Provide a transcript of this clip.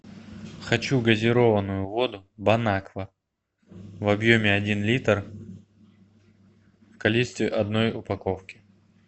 хочу газированную воду бон аква в объеме один литр в количестве одной упаковки